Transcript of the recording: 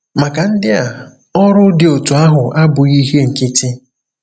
Maka ndị a, ọrụ dị otú ahụ abụghị ihe nkịtị.